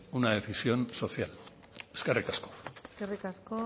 una decisión social eskerrik asko eskerrik asko